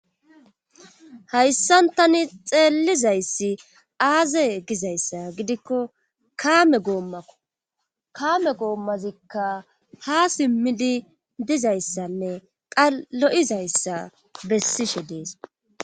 hayssan tani xeellizayssi aaze gizayssa gidikko kaame gooma goommazikka ha simmidi dizayssanne qalo7izayssa bessishe dees